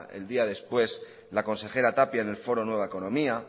el día después la consejera tapia en el foro nueva economía